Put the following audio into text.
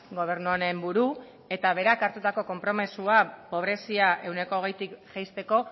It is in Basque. gobernu honen buru eta berak hartutako konpromisoa pobrezia ehuneko hogeitik jaisteko